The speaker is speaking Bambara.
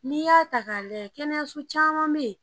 N'i y'a ta k'a lajɛ kɛnɛso caman bɛ yen